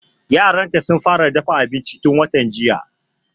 Yaran ta sun fara dafa abinci tun watan jiya